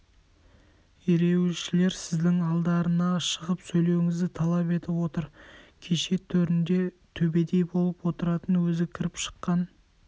ереуілшілер сіздің алдарына шығып сөйлеуіңізді талап етіп отыр кеше төрінде төбедей болып отыратын өзі кіріп-шыққан